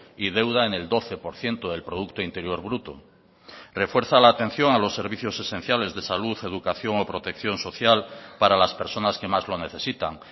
y deuda en el doce por ciento del producto interior bruto refuerza la atención a los servicios esenciales de salud educación o protección social para las personas que más lo necesitan